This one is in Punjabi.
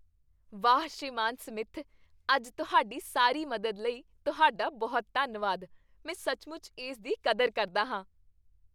ਵਾਹ, ਸ੍ਰੀਮਾਨ ਸਮਿਥ, ਅੱਜ ਤੁਹਾਡੀ ਸਾਰੀ ਮਦਦ ਲਈ ਤੁਹਾਡਾ ਬਹੁਤ ਧੰਨਵਾਦ। ਮੈਂ ਸੱਚਮੁੱਚ ਇਸ ਦੀ ਕਦਰ ਕਰਦਾ ਹਾਂ!